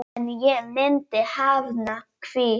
En ég myndi hafna því.